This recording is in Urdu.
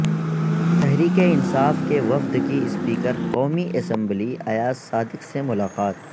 تحریک انصاف کے وفد کی اسپیکر قومی اسمبلی ایاز صادق سے ملاقات